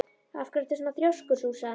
Af hverju ertu svona þrjóskur, Súsan?